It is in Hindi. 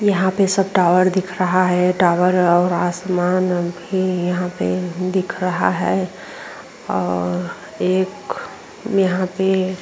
यहां पे सब टावर दिख रहा है। टावर और आसमान भी यहां पे दिख रहा है और एक यहां पे --